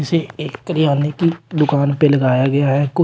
इसे एक कार्यालय की दुकान पर लगाया गया है कोई--